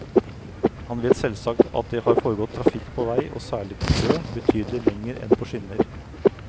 Han vet selvsagt at det har foregått trafikk på vei, og særlig på sjø, betydelig lenger enn på skinner.